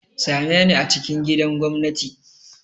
Same ni a cikin gidan gwamnati!